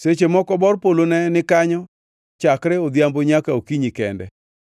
Seche moko bor polo ne ni kanyo chakre odhiambo nyaka okinyi kende,